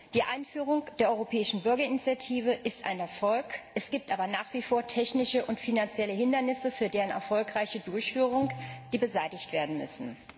Die Einführung der Europäischen Bürgerinitiative ist ein Erfolg, es gibt aber nach wie vor technische und finanzielle Hindernisse für deren erfolgreiche Durchführung, die beseitigt werden müssen.